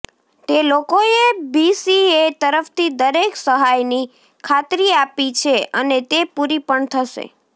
તે લોકોએ બીસીએ તરફથી દરેક સહાયની ખાતરી આપી છે અને તે પૂરી પણ થશે